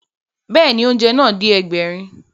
Bẹ́ẹ̀ni, oúnjẹ náà dé Ẹgbẹ̀rin